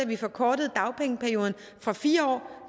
vi forkortede dagpengeperioden fra fire år